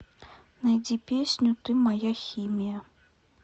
найди песню ты моя химия